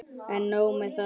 En nóg með það.